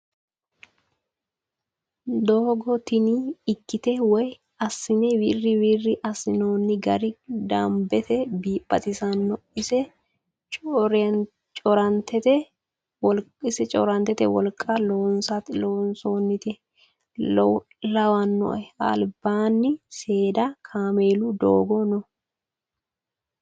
Doogo tini ikitte woyi asinne wiri wiri asinonni gari damibete baxxisano ise corenittete woliqqa loosonite lawinoe alibbani seedda kaamelu dooggo noo